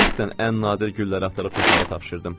Bu dəfə qəsdən ən nadir gülləri axtarıb tapmağı tapşırdım.